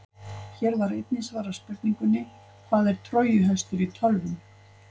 Hér var einnig svarað spurningunni: Hvað er trójuhestur í tölvum?